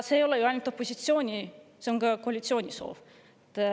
See ei ole ainult opositsiooni soov, see on ka koalitsiooni soov.